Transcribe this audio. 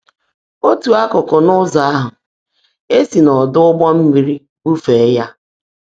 Otu akụkụ nke ụzọ ahụ, e si n'ọdụ ụgbọ mmiri bufee ya.